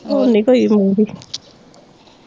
ਹੁਣ ਨਹੀਂ ਕੋਈ ਵੀ ਮੂੰਹ ਦੀ